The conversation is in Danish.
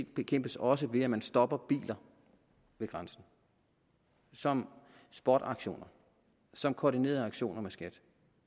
bekæmpes også ved at man stopper biler ved grænsen som spotaktioner som koordinerede aktioner med skat